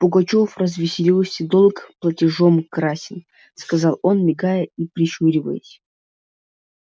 пугачёв развеселился долг платежом красен сказал он мигая и прищуриваясь